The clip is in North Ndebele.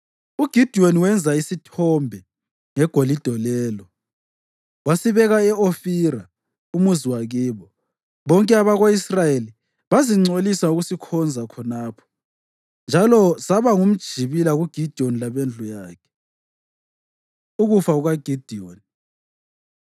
UGidiyoni wenza isithombe ngegolide lelo, wasibeka e-Ofira, umuzi wakibo. Bonke abako-Israyeli bazingcolisa ngokusikhonza khonapho, njalo saba ngumjibila kuGidiyoni labendlu yakhe. Ukufa KukaGidiyoni